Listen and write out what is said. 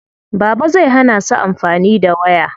Baba zai hana su amfani da waya.